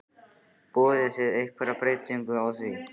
Boðið þið einhverja breytingu á því?